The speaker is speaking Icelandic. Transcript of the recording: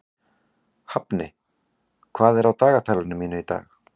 Hafni, hvað er á dagatalinu mínu í dag?